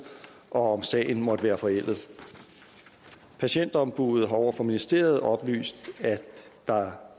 og om sagen måtte være forældet patientombuddet har over for ministeriet oplyst at der